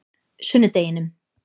sunnudeginum